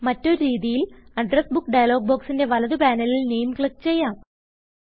മറ്റൊരു രീതിയിൽ address book dialog ബൊക്സിന്റെ വലത് പാനലിൽ നാമെ ക്ലിക്ക് ചെയ്യാം